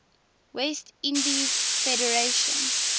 west indies federation